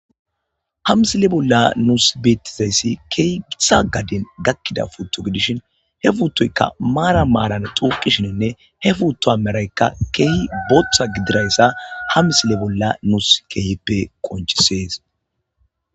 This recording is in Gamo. Hamsile bolla nuus beettizayssi keehi githa gadden gakkida futto gidishin he fuuttoyka maara maaran xuuqishininne he fuutto ameraykka keehi bootha gidirayssa hamsile bolla nuus keehippe qonchisees.